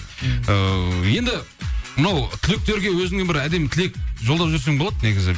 ыыы енді мынау түлектерге өзіңнен бір әдемі тілек жолдап жіберсең болады негізі